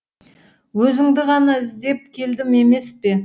өзіңді ғана іздеп келдім емес пе